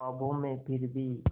ख्वाबों में फिर भी